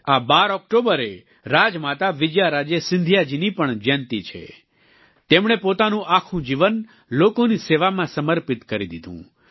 આ 12 ઓક્ટોબરે રાજમાતા વિજયારાજે સિંધિયા જીની પણ જયંતિ છે તેમણે પોતાનું આખું જીવન લોકોની સેવામાં સમર્પિત કરી દીધું